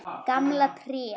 Gamla tréð.